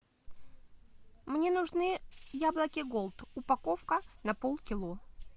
мне нужны яблоки голд упаковка на полкило